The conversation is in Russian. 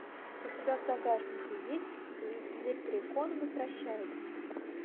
у тебя в загашнике есть лепрекон возвращается